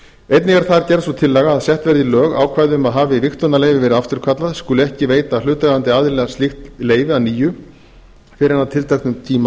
einnig er þar gerð sú tillaga að sett verði í lög ákvæði um að hafi vigtunarleyfi verið afturkallað skuli ekki veita hlutaðeigandi aðila slíkt leyfi að nýju fyrr en að tilteknum tíma